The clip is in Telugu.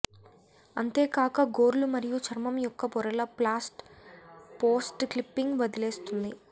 అంతేకాక గోర్లు మరియు చర్మం యొక్క పొరలు పోస్ట్ క్లిప్పింగ్ వదిలేస్తుంది